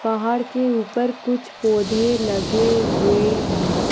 पहाड़ के ऊपर कुछ पोधे लगे हुए है।